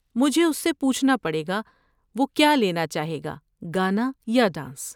مجھے اس سے پوچھنا پڑے گا وہ کیا لینا چاہے گا، گانا یا ڈانس۔